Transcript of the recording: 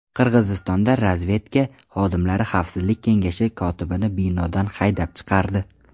Qirg‘izistonda razvedka xodimlari Xavfsizlik kengashi kotibini binodan haydab chiqardi.